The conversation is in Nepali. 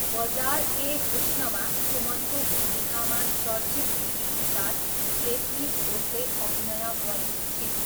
बजार ए हुस्नमा सुमनको भूमिकामा चर्चित टिभी स्टार रेश्मी घोषले अभिनय गरेकी छिन्।